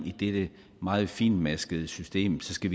i dette meget fintmaskede system skal